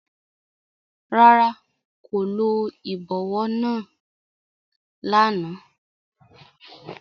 Rárá, ko lo ibọwọ làná